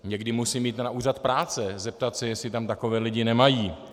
Někdy musím jít na úřad práce se zeptat, jestli tam takové lidi nemají.